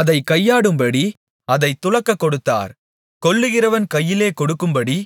அதைக் கையாடும்படி அதைத் துலக்கக் கொடுத்தார் கொல்லுகிறவன் கையிலே கொடுக்கும்படி